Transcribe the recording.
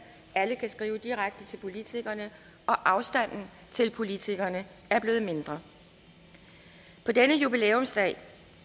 alle kan skrive direkte til politikerne og afstanden til politikerne er blevet mindre på denne jubilæumsdag